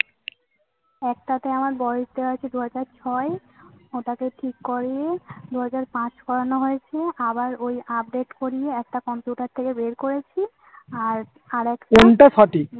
একটাতে আমার বয়স দেওয়া আছে দু হাজার ছয় ওটাকে ঠিক করিয়ে দু হাজার পাঁচ করানো হয়েছিল। আবার ওই update করিয়ে একটা computer থেকে বের করেছি আর একটা